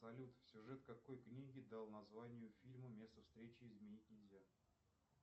салют сюжет какой книги дал название фильму место встречи изменить нельзя